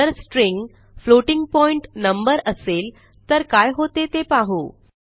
जर string floating point number असेल तर काय होते ते पाहू